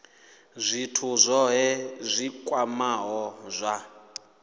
zwithu zwohe zwi kwamaho zwa